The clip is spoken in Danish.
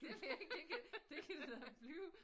Det ved jeg ikke det kan det kan det da blive